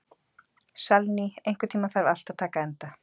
Salný, einhvern tímann þarf allt að taka enda.